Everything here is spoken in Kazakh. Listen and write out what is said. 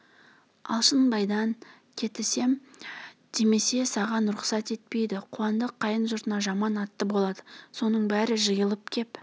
алшынбайдан кетісем демесе саған рұқсат етпейді қуандық қайын жұртына жаман атты болады соның бәрі жиылып кеп